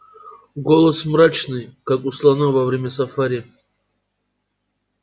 голос мрачный как у слона во время сафари